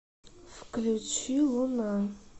включи луна